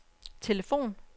telefon